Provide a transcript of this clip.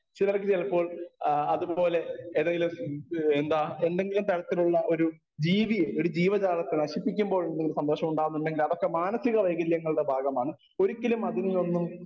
speaker 1 ചിലർക്ക് ചിലപ്പോൾ ആ അതുപോലെ ഏതെങ്കിലും എന്താ എന്തെങ്കിലും തരത്തിലുള്ള ഒരു ജീവി ഒരു ജീവജാലത്തെ നശിപ്പിക്കുമ്പോൾ എന്തെങ്കിലും സന്തോഷം ഉണ്ടാകുന്നുണ്ടെങ്കിൽ അതൊക്കെ മാനസിക വൈകല്യങ്ങളുടെ ഭാഗമാണ് ഒരിക്കലും അതിനെ ഒന്നും